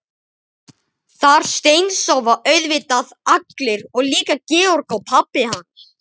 Þar steinsofa auðvitað allir og líka Georg og pabbi hans.